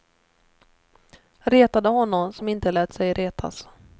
Retade honom som inte lät sig retas.